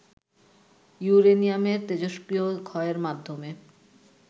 ইউরেনিয়ামের তেজষ্ক্রিয় ক্ষয়ের মাধ্যমে